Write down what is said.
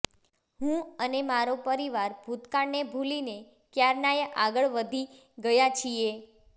હું અને મારો પરિવાર ભૂતકાળને ભૂલીને કયારનાય આગળ વધી ગયા છીએ